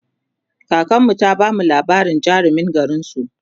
kakanmu ta bamu labarin jarumin garinsu